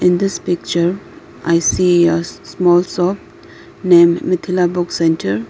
In this picture I see a small shop name mithila book center.